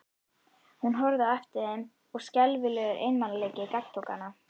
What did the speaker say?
Hún horfði á eftir þeim og skelfilegur einmanaleiki gagntók hana.